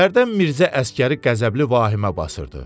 Hərdən Mirzə Əsgəri qəzəbli vahimə basırdı.